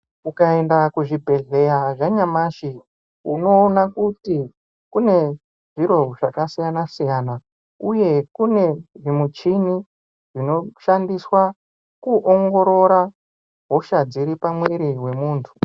Ukaenda kuzvibhedhlera zvanyamashi unoona kuti kune zviro zvakasiyana-siyana uye kune zvimichini zvinoshandiswe kuongorora hosha dziri pamuiri pemuntu.